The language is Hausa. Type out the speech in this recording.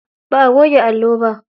Ba a goge allo ba.